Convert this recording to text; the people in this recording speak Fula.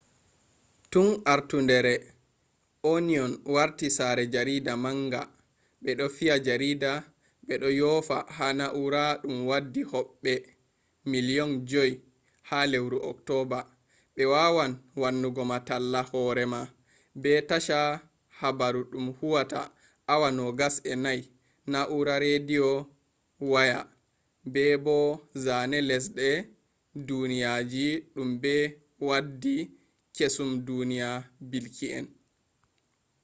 tun artundere onion warti sare jarida manga ,be do fiya jarida be do yofa ha na'ura dum waddi hobbe 5,000,000 ha lewru october be wawan wannugo ma talla horema be tasha habaru dum huwata awa 24 nau'ra redio waya be bo zane lesde duniyaji dum be waddi kesum duniya bilki en